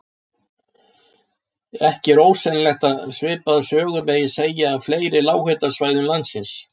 Ekki er ósennilegt að svipaða sögu megi segja af fleiri lághitasvæðum landsins.